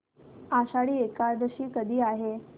आषाढी एकादशी कधी आहे